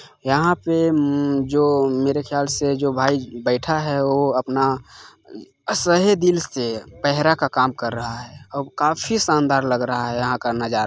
यहाँ पे अम्म जो मेरे ख़याल से जो भाई बैठा है ओ अपना सहे दिल से पेहरा का काम कर रहा है और काफी शानदार लग रहा है यहाँ का नज़ार--